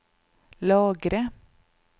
lagre